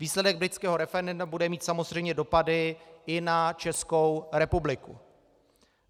Výsledek britského referenda bude mít samozřejmě dopady i na Českou republiku.